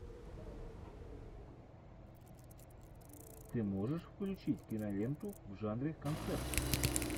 ты можешь включить киноленту в жанре концерт